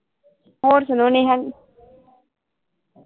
ਹੁਣ ਸੁਣਾਓ ਨੇਹਾ